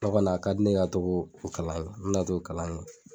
O kɔni ne ye ka togo o kalan kɛ, n mina t'o kalan kɛ